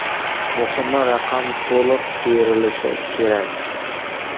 Muhimi: raqam to‘liq terilishi kerak.